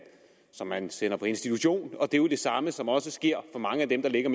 som man sender på institution og det er jo det samme som også sker for mange af dem der ligger